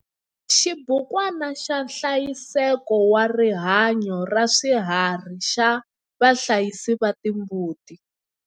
Xibukwana xa nhlayiseko wa rihanyo ra swiharhi xa vahlayisi va timbuti.